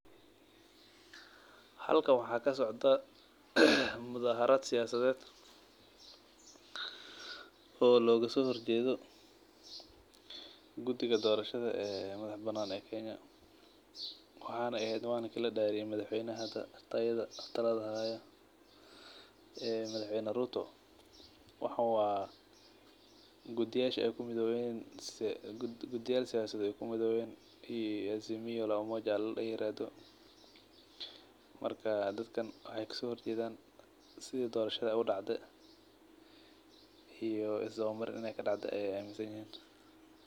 Halkan waxaa kasocdaah mudaharad siyasaded, oo logaso horjedho gudiga dorashada ee madax banan ee Kenya, waxaa ehed malinka ladariye madax weynaha hada talada hayo ee madax weyna Ruto, waxaan wa gudiyasha ay kumidoben kii Azimio la umoja layirahdo marka dadkan waxay kaso horjedan sidi dorashada ay udacdhe iyo isdawa mar in ay kadacde ay aminsanyihin.